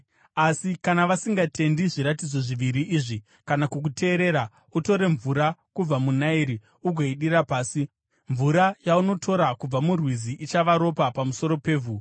Asi kana vasingatendi zviratidzo zviviri izvi kana kukuteerera, utore mvura kubva muna Nairi ugoidira pasi. Mvura yaunotora kubva murwizi ichava ropa pamusoro pevhu.”